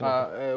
İki nəfər.